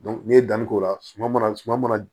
n'i ye danni k'o la suma ma suma mana